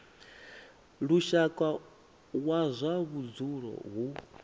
lushaka wa zwa vhudzulo hu